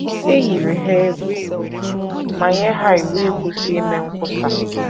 E yiri ha egwu ma nye ha iwu ịkwụsị ime nkwusa.